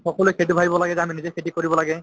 সকলোয়ে সেইটো ভাবিব লাগে যে আমি নিজে খেতি কৰিব লাগে